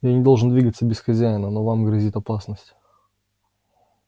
я не должен двигаться без хозяина но вам грозит опасность